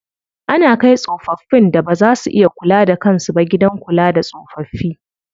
Ana kai tsofaffin da baza su iya kula da kan su ba gidan kula da tsofaffi.